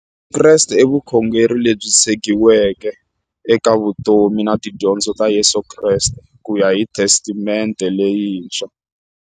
Vukreste i vukhongeri lebyi tshegiweke eka vutomi na tidyondzo ta Yesu Kreste kuya hi Testamente leyintshwa.